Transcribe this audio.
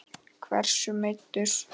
Hversu meiddur?